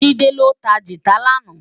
JIde lô tá gitá làná